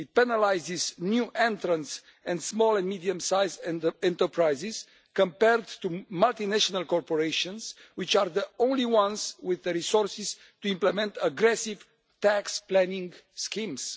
It penalises new entrants and small and medium sized enterprises compared to multinational corporations, which are the only ones with the resources to implement aggressive tax planning schemes.